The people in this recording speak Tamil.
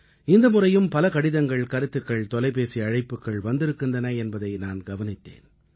இந்த முறையும் பல கடிதங்கள் கருத்துக்கள் தொலைபேசி அழைப்புக்கள் வந்திருக்கின்றன என்பதை நான் கவனித்தேன்